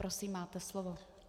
Prosím, máte slovo.